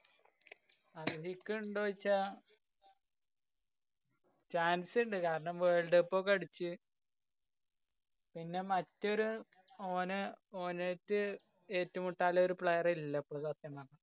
അര്‍ഹിക്കുണ്ടോ ചോയ്ച്ചാ chance ണ്ട്. കാരണം world cup ഒക്കെ അടിച്ച്. പിന്നെ മറ്റൊരു ഓന് ഓലെറ്റ് ഏറ്റുമുട്ടാള്ളോരു player ഇല്ലാപ്പൊ സത്യം പറഞ്ഞാല്.